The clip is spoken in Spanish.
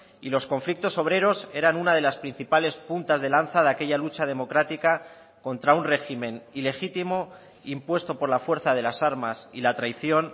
y los conflictos obreros eran una de las principales puntas de lanza de aquella lucha democrática contra un régimen ilegítimo impuesto por la fuerza de las armas y la traición